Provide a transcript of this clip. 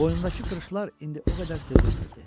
Boynundakı qırışlar indi o qədər sezilmirdi.